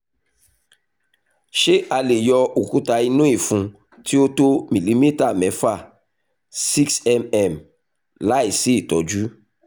ṣé a lè yọ òkúta inú ìfun tí ó tó mìlímítà mẹ́fà six mm láìsí ìtọ́jú?